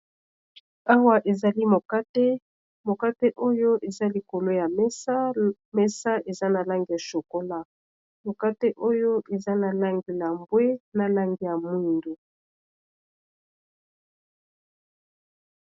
Awa ezali mokate mokate oyo eza likolo ya mesamesa eza na lange ya shokola, mokate oyo eza na lange ya mbwe, na lange ya mwindo.